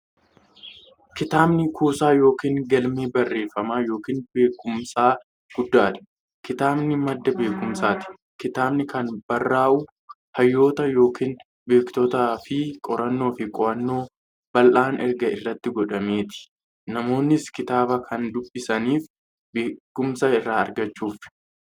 Kitaabni kuusaa yookiin galmee barreeffamaa yookiin beekumsaa guddaadha. Kitaabni madda beekumsaati. Kitaabni kan barraa'u hayyoota yookiin beektotaanifi qorannoo fi qo'annoo bal'aan erga irratti godhameeti. Namoonnis kitaaba kan dubbisaniif beekumsa irraa argachuuf.